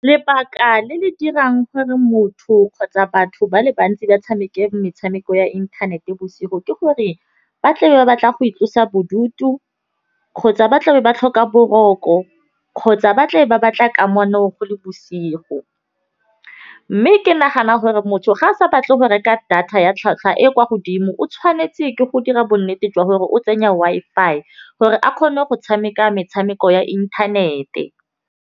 Lebaka le le dirang gore motho kgotsa batho ba le bantsi ba tshameke metshameko ya inthanete bosigo. Ke gore ba tle ba batla go itlosa bodutu kgotsa ba tlabe ba tlhoka boroko kgotsa ba tle ba batla kamano go le bosigo. Mme ke nagana gore motho ga a sa batle go reka data ya tlhwatlhwa e kwa godimo. O tshwanetse ke go dira bonnete jwa gore o tsenya Wi-Fi gore a kgone go tshameka metshameko ya inthanete.